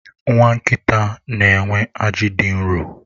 Nwa nkịta nxenwe aji dị nro.